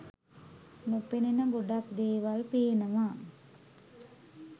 නොපෙනෙන ගොඩක් දේවල් පේනවා